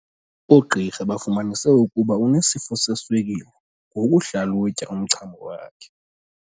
Oogqirha bafumanise ukuba unesifo seswekile ngokuhlalutya umchamo wakhe.